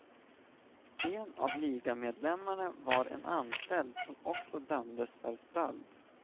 En av ligamedlemmarna var en anställd som också dömdes för stöld.